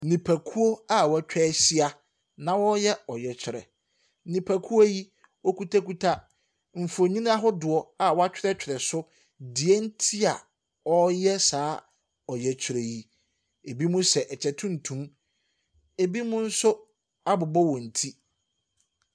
Nnipakuo a wɔatwa ahyiana wɔreyɛ ɔyɛkyerɛ. Wɔkitakita mfonin ahodoɔ a wɔatwerɛtwerɛ so deɛ nti a wɔreyɛ saa ɔyɛkyerɛ yi. Binom hyɛ kyɛ tuntum, binom nso abobɔ wɔn ti.